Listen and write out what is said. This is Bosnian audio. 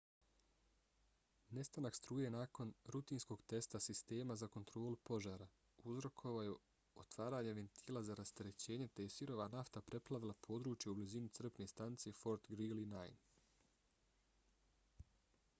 nestanak struje nakon rutinskog testa sistema za kontrolu požara uzrokovao je otvaranje ventila za rasterećenje te je sirova nafta preplavila područje u blizini crpne stanice fort greely 9